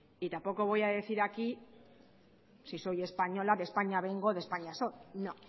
y tampoco voy a decir aquí si soy española de españa vengo de españa soy no